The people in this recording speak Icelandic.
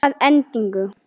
Að endingu